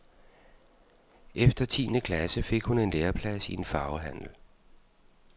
Efter tiende klasse fik hun en læreplads i en farvehandel.